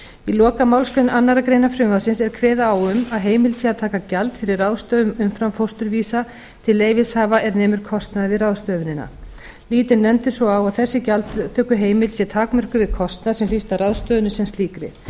í lokamálsgrein þriðju greinar frumvarpsins er kveðið á um að heimilt sé að taka gjald fyrir ráðstöfun umframfósturvísa til leyfishafa er nemur kostnaði við ráðstöfunina lítur nefndin svo á að þessi gjaldtökuheimild sé takmörkuð við kostnað sem hlýst af ráðstöfuninni sem slíkri